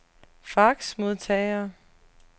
faxmodtager